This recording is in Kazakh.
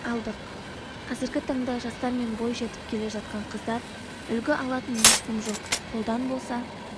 алдық қазіргі таңда жастар мен бойжетіп келе жатқан қыздар үлгі алатын ешкім жоқ қолдан болса